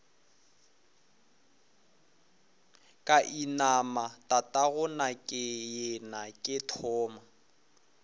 ka inama tatagonakeyena ke thoma